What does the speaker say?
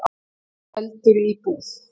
Eldur í íbúð